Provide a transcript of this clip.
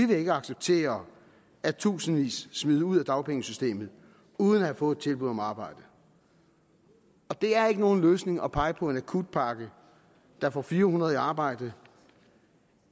vil acceptere at tusindvis smides ud af dagpengesystemet uden at have fået et tilbud om arbejde det er ikke nogen løsning at pege på en akutpakke der får fire hundrede i arbejde